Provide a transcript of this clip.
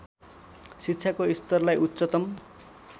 शिक्षाको स्तरलाई उच्चतम